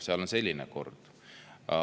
Seal on selline kord.